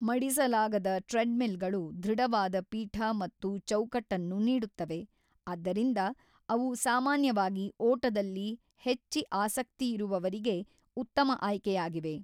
ಮಡಿಸಲಾಗದ ಟ್ರೆಡ್‌ಮಿಲ್‌ಗಳು ದೃಢವಾದ ಪೀಠ ಮತ್ತು ಚೌಕಟ್ಟನ್ನು ನೀಡುತ್ತವೆ, ಆದ್ದರಿಂದ ಅವು ಸಾಮಾನ್ಯವಾಗಿ ಓಟದಲ್ಲಿ ಹೆಚ್ಚಿ ಆಸಕ್ತಿಯಿರುವವರಿಗೆ ಉತ್ತಮ ಆಯ್ಕೆಯಾಗಿವೆ.